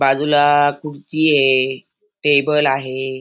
बाजूला खुर्ची ये टेबल आहे.